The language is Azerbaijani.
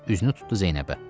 Üzünü tutdu Zeynəbə.